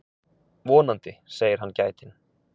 Vonandi, segir hann gætinn.